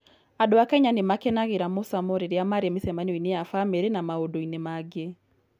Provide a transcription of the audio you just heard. Andũ a Kenya nĩ makenagĩra mũcamo rĩrĩa marĩ mĩcemanio-inĩ ya famĩlĩ na maũndũ-inĩ mangĩ.